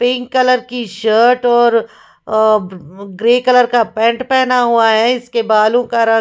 pink colour की shirt और अ ब ब ग्रे कलर का पैन्ट पहना हुआ है इसके बालों का रंग--